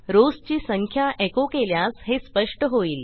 rows ची संख्या एको केल्यास हे स्पष्ट होईल